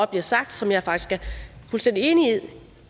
bliver sagt som jeg faktisk er fuldstændig enig i